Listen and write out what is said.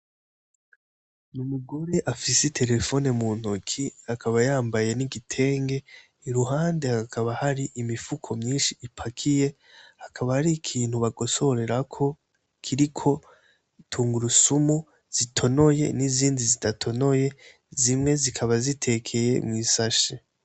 Ni umugore afise i telefone mu ntoki akaba yambaye n'igitenge i ruhande akaba hari imifuko myinshi ipakiye hakaba hari ikintu bagosorerako kiriko tungurusumu zitonoye n'izindi zidatonoye zimwe zikaba zitekeye mw'isashe